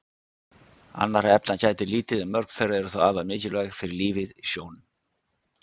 Annarra efna gætir lítið en mörg þeirra eru þó afar mikilvæg fyrir lífið í sjónum.